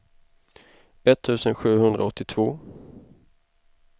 etttusen sjuhundraåttiotvå